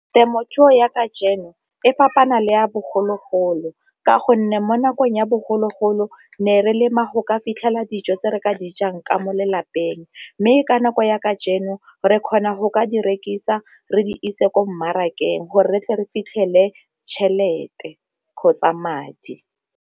Temothuo ya e fapana le ya bogologolo ka gonne mo nakong ya bogologolo ne re lema go ka fitlhela dijo tse re ka dijang ka mo lelapeng, mme ka nako ya re kgona go ka di rekisa re di ise ko mmarakeng gore re tle re fitlhele tšhelete kgotsa madi.